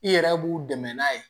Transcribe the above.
I yɛrɛ b'u dɛmɛ n'a ye